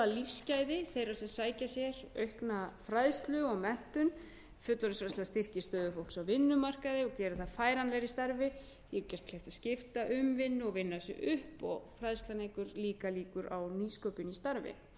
efla lífsgæði þeirra sem sækja sér aukna fræðslu og menntun fullorðinsfræðsla styrkir stöðu fólks á vinnumarkaði og gerir það færanlegra í starfi því er gert kleift að skipta um vinnu og vinna sig upp og fræðslan eykur líka líkur á nýsköpun í starfi í öðru lagi eru það auðvitað